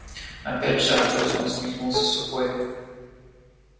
опять шах грустно усмехнулся сухой